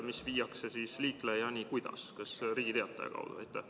Kuidas see liiklejani viiakse – kas Riigi Teataja kaudu ?